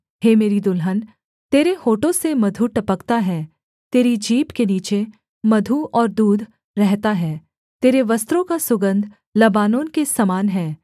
हे मेरी दुल्हन तेरे होठों से मधु टपकता है तेरी जीभ के नीचे मधु और दूध रहता है तेरे वस्त्रों का सुगन्ध लबानोन के समान है